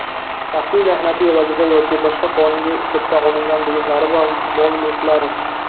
shaxsiy mehnati evaziga yoki boshqa qonuniy usulda olingan buyumlari va mol-mulklari.